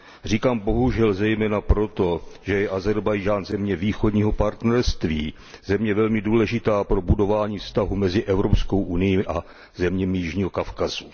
Říkám bohužel zejména proto, že je Ázerbájdžán země Východního partnerství, země velmi důležitá pro budování vztahů mezi Evropskou unií a zeměmi jižního Kavkazu.